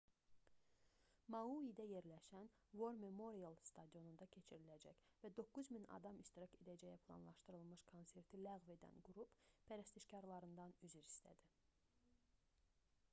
mauidə yerləşən war memorial stadionunda keçiriləcək və 9000 adamın iştirak edəcəyi planlaşdırılmış konserti ləğv edən qrup pərəstişkarlarından üzr istədi